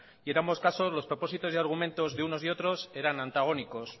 y en ambos casos los propósitos y argumentos de unos y otros eran antagónicos